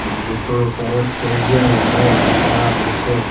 মছজিদৰ ওপৰত সেউজীয়া ৰঙেৰে ৰং কৰা হৈছে।